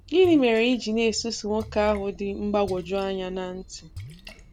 Gịnị mere i ji na-esusu nwoke ahụ dị mgbagwojuanya na nti?